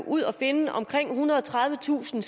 ud at finde omkring ethundrede og tredivetusind